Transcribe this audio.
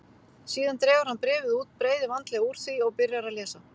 Síðan dregur hann bréfið út, breiðir vandlega úr því og byrjar að lesa.